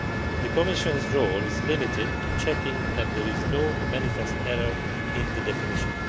The Commission's role is limited to checking that there is no manifest error in the definition.